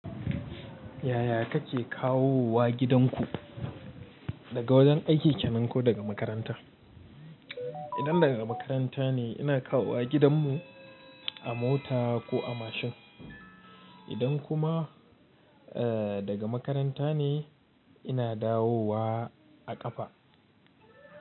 Yaya kake kawo wa gidanku daga wajen aiki ke nan ko daga makaranta? Idan daga makaranta ne ina kawo wa gidanmu a mota ko a mashin. Idan kuma daga makaranta ne ina dawo wa a ƙafa.